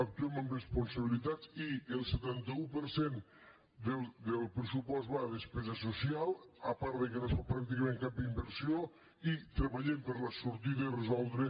actuem amb responsabilitat i el setanta un per cent del pressupost va a despesa social a part que no es fa pràcticament cap inversió i treballem per la sortida i resoldre